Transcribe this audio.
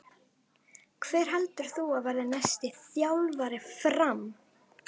Hver heldur þú að verði næsti þjálfari FRAM?